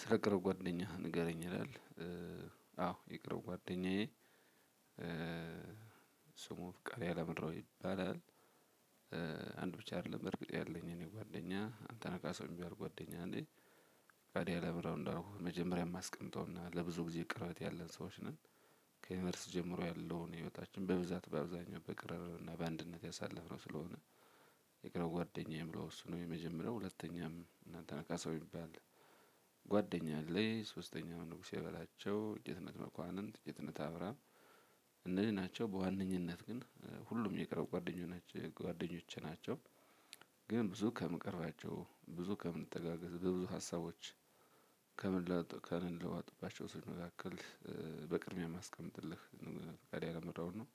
ስለ ቅርብ ጓደኛህ ንገረኝ ይላል? አዎ የቅርብ ጓደኛዬ ስሙ ፍቃዴ አላምረው ይባላል። አንድ ብቻ አይደለም በእርግጥ ያለኝ እኔ ጓደኛ አንተነህ ካሳው የሚባል ጓደኛ አለኝ ፍቃዴ አላምረው እንዳልኩህ መጀመሪያ የማስቀምጠውና ለብዙ ጊዜ ቅርበት ያለን ሰዎች ነን። ከዩኒቨርስቲ ጀምሮ ያለውን ህይወታችን በብዛት በአብዛኛው በቅርርብ እና በአንድነት ያሳለፍነው ስለሆነ። የቅርብ ጓድኛዬ የምለው እሱ ነው የመጀመሪያው ሁለተኛም አንተነህ ካሳው የሚባል። ጓደኛ አለኝ ሶስተኛ ደግሞ ንጉሴ በላቸው፣ ጌትነት መኳንንት፣ ጌትነት አብርሃም እነዚሀ ናቸው በዋነኝነት ግን ሁሉም የቅርብ ጓደኛ ናቸው። ጓደኞቼ ናቸው። ግን ብዙ ከምቀርባቸው ብዙ ከምንጠጋጋ በብዙ ሀሳቦች ከምን ከምንለዋወጥባቸው ሰዎች መካክል በቅድሚያ የማስቀመጥልህ ፍቃዴ አላምረውን ነው።